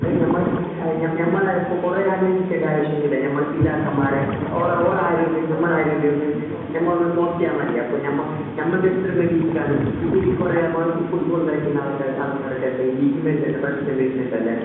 അയിന് ഞമ്മളെ കൊറേ ആലോചിക്കേണ്ട ആവിശ്യം ഒന്നും ഇല്ല ഞമ്മളെ പിതാക്കന്മാരെ ഒരേ ആരോഗ്യം ഒന്ന് ഞമ്മളെ ആരോഗ്യം ഒന്ന് ഞമ്മ ഒന്ന് നോക്കിയ മതി അപ്പൊ ഞമ്മൾടെ എത്ര ഇപ്പൊ ഈ കൊറേ ഫുട്ബോൾ കളിക്കുന്ന ആൾക്കാർക്കെല്ലാം ഈ ലിഗ്‌മെന്റിന് പ്രശ്നം വരുന്നുണ്ടല്ലേ